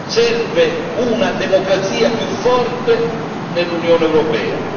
Serve una democrazia più forte nell'Unione europea.